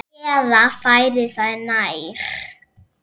Eða færir það nær.